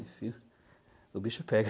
Enfim, o bicho pega.